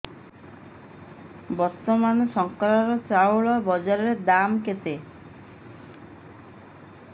ବର୍ତ୍ତମାନ ଶଙ୍କର ଚାଉଳର ବଜାର ଦାମ୍ କେତେ